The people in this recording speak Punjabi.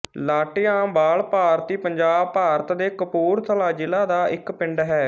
ਲਾਟੀਆਂਵਾਲ ਭਾਰਤੀ ਪੰਜਾਬ ਭਾਰਤ ਦੇ ਕਪੂਰਥਲਾ ਜ਼ਿਲ੍ਹਾ ਦਾ ਇੱਕ ਪਿੰਡ ਹੈ